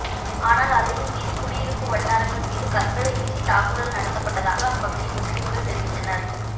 ஆனால் அதையும் மீறி குடியிருப்பு வட்டாரங்கள் மீது கற்களை வீசித் தாக்குதல் நடத்தப்பட்டதாக அப்பகுதி முஸ் லிம்கள் தெரிவித்தனர்